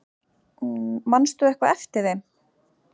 Manstu eitthvað eftir þeim?